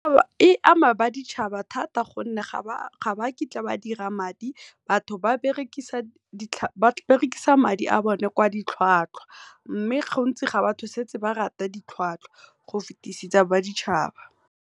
E ama ba ditšhaba thata gonne ga bakitla ba dira madi batho ba berekisa madi a bone kwa ditlhwatlhwa, mme go ntsi ga batho setse ba rata ditlhwatlhwa go fitisisa ba ditšhaba.